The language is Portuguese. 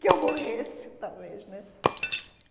Que eu morresse, talvez, né?